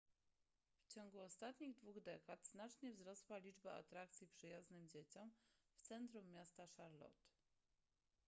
w ciągu ostatnich dwóch dekad znacznie wzrosła liczba atrakcji przyjaznych dzieciom w centrum miasta charlotte